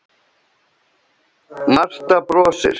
Marta brosir.